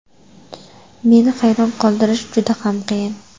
Meni hayron qoldirish juda ham qiyin.